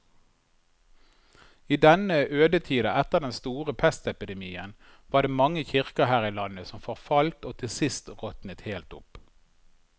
I denne ødetida etter den store pestepidemien var det mange kirker her i landet som forfalt og til sist råtnet helt opp.